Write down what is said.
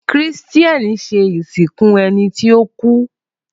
Christain ṣe iṣẹ isinku si ẹni ti o ku